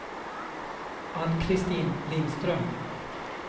Ann-Kristin Lindström